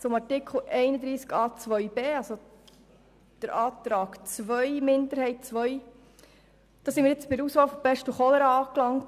Zum Antrag der Kommissionsminderheit II zu Artikel 31a Absatz 2b: Hier sind wir bei der Auswahl zwischen Pest und Cholera angelangt.